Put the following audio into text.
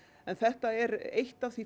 en þetta er eitt af því